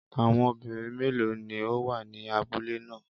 Àwọn obìnrin méèló ni ó wà ní abúlé ná à?